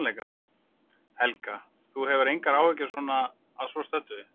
Helga: Þú hefur engar áhyggjur svona að svo stöddu?